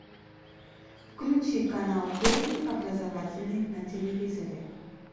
включи канал первый образовательный на телевизоре